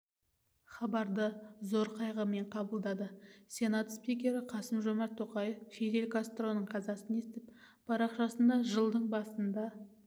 хабарды зор қайғымен қабылдады сенат спикері қасым-жомарт тоқаев фидель кастроның қазасын естіп парақшасына жылдың басында